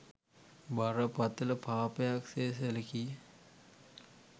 බරපතළ පාපයක් සේ සැලකීය.